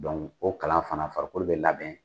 Donku o kalan fana farikolo bɛ labɛn.